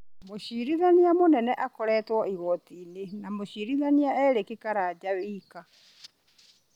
Mũcirithania mũnene akoretwo igooti-inĩ na mũcirithania Erick Karanja wika